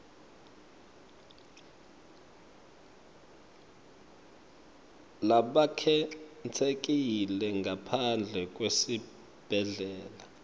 labakhetsekile ngaphandle kwesibhedlela